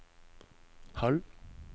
halv